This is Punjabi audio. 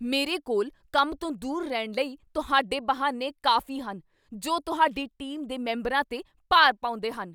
ਮੇਰੇ ਕੋਲ ਕੰਮ ਤੋਂ ਦੂਰ ਰਹਿਣ ਲਈ ਤੁਹਾਡੇ ਬਹਾਨੇ ਕਾਫ਼ੀ ਹਨ ਜੋ ਤੁਹਾਡੀ ਟੀਮ ਦੇ ਮੈਂਬਰਾਂ 'ਤੇ ਭਾਰ ਪਾਉਂਦੇ ਹਨ।